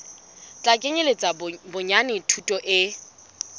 tla kenyeletsa bonyane thuto e